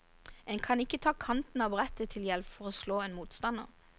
En kan ikke ta kanten av brettet til hjelp for å slå en motstander.